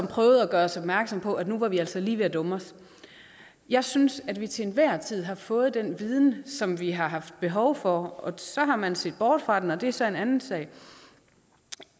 prøvet at gøre os opmærksom på at nu var vi altså lige ved at dumme os jeg synes at vi til enhver tid har fået den viden som vi har haft behov for og så har man set bort fra den og det er så en anden sag